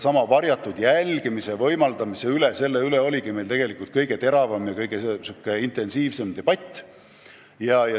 Ja varjatud jälgimise võimaldamise üle oligi meil kõige teravam debatt.